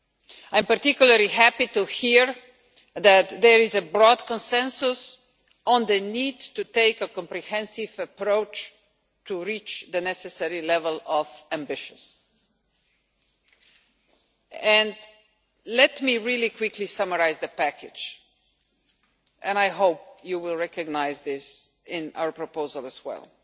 I am particularly happy to hear that there is a broad consensus on the need to take a comprehensive approach to reach the necessary level of ambition. Let me really quickly summarise the package and I hope you will recognise this in our proposal as well.